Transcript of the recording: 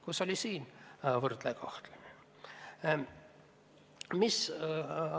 Kus oli siis võrdne kohtlemine?